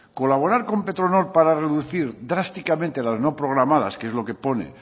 colaborar con petronor para reducir drásticamente las no programadas que es lo que pone